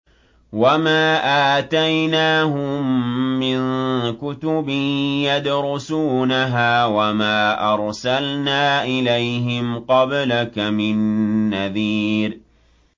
وَمَا آتَيْنَاهُم مِّن كُتُبٍ يَدْرُسُونَهَا ۖ وَمَا أَرْسَلْنَا إِلَيْهِمْ قَبْلَكَ مِن نَّذِيرٍ